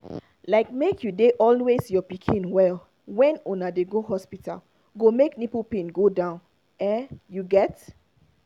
like make you dey always your pikin well when una dey go hospital go make nipple pain go down ah you get